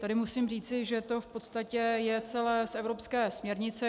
Tady musím říci, že to v podstatě je celé z evropské směrnice.